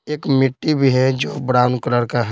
एक मिट्टी भी है जो ब्राउन कलर का है।